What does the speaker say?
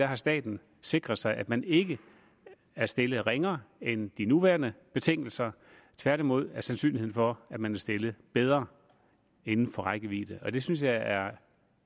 har staten sikret sig at man ikke er stillet ringere end de nuværende betingelser tværtimod er sandsynligheden for at man er stillet bedre inden for rækkevidde det synes jeg er